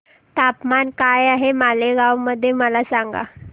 तापमान काय आहे मालेगाव मध्ये मला सांगा